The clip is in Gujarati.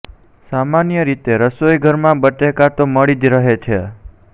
સામાન્ય રીતે રસોઇઘરમાં બટેકા તો મળી જ રહે છે